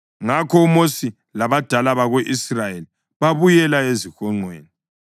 Ngakho uMosi labadala bako-Israyeli babuyela ezihonqweni.